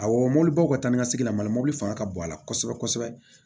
Awɔ mɔbilibaw ka taa ni ka segin la mali la mobili fanga ka bon a la kosɛbɛ kosɛbɛ